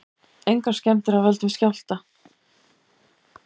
Engar skemmdir af völdum skjálfta